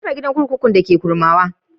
An rufe gidan kurkuku na Kurmawa.